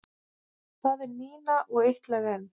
Það er Nína og Eitt lag enn.